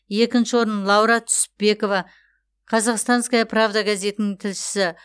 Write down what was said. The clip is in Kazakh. екінші орын лаура түсіпбекова казахстанская правда газетінің тілшісі